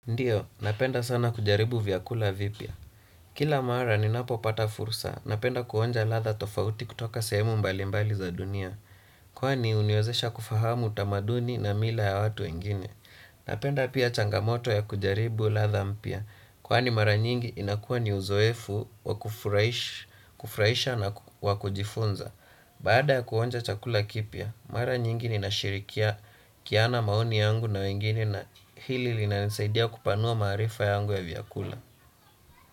Ndiyo, napenda sana kujaribu vyakula vipya. Kila mara ni napo pata fursa, napenda kuonja ladha tofauti kutoka sehemu mbali mbali za dunia. Kwani uniwezesha kufahamu utamaduni na mila ya watu wengine. Napenda pia changamoto ya kujaribu ladha mpya. Kwani mara nyingi inakuwa ni uzoefu wakufurahisha na wakujifunza. Bada ya kuonja chakula kipya, mara nyingi inashirikia kiana maoni yangu na wengine. Hili lina nisaidia kupanua maarifa yangu ya vyakula.